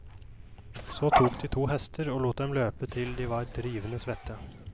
Så tok de to hester og lot dem løpe til de var drivende svette.